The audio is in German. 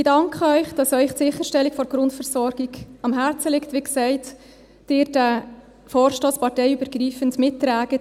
Ich danke Ihnen, dass Ihnen die Sicherstellung der Grundversorgung am Herzen liegt und dass Sie – wie gesagt – diesen Vorstoss parteiübergreifend mittragen.